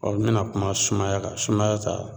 Ɔ n bena kuma sumaya kan sumaya ta